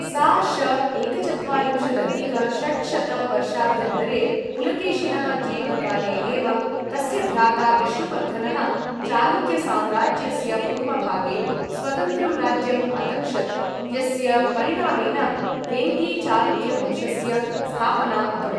सा.श. एकचत्वारिम्शदधिक षट्शत वर्षाभ्यन्तरे, पुलकेशिनः जीवनकाले एव तस्य भ्राता विष्णुवर्धनः चालुक्यसाम्राज्यस्य पूर्वभागे स्वतन्त्रं राज्यम् अतक्षत्, यस्य परिणामेन वेङ्गी चालुक्यवंशस्य स्थापना अभवत्।